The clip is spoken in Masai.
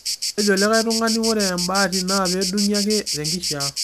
nejo likai tung'ani ore embaati naa peedung'i ake tenkishia